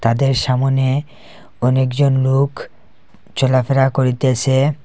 মাঠের সামোনে অনেক জন নোক চলাফেরা করিতেসে।